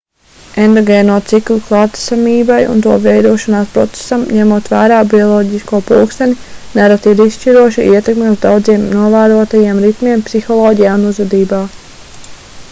endogēno ciklu klātesamībai un to veidošanās procesam ņemot vērā bioloģisko pulksteni nereti ir izšķiroša ietekme uz daudziem novērotajiem ritmiem psiholoģijā un uzvedībā